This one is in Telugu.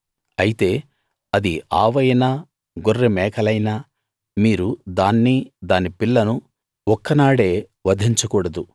అయితే అది ఆవైనా గొర్రె మేకలైనా మీరు దాన్ని దాని పిల్లను ఒక్క నాడే వధించకూడదు